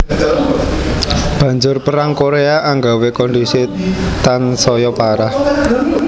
Banjur Perang Koréa anggawé kondhisi tansaya parah